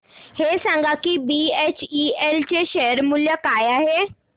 हे सांगा की बीएचईएल चे शेअर मूल्य काय आहे